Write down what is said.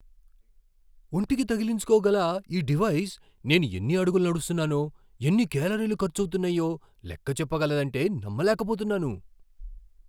ఒంటికి తగిలించుకోగల ఈ డివైజ్ నేను ఎన్ని అడుగులు నడుస్తున్నానో, ఎన్ని కేలరీలు ఖర్చవుతున్నాయో లెక్క చెప్పగలదంటే నమ్మలేకపోతున్నాను.